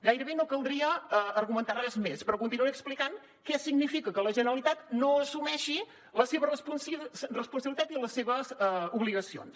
gairebé no caldria argumentar res més però continuaré explicant què significa que la generalitat no assumeixi la seva responsabilitat i les seves obligacions